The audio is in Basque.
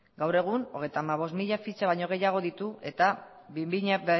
gaur egun hogeita hamabost mila fitxa baino gehiago ditu eta bi mila